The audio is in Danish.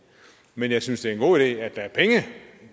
men jeg synes det er en god idé at der er penge